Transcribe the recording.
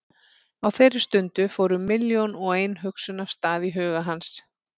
Á þeirri stundu fóru milljón og ein hugsun af stað í huga hans.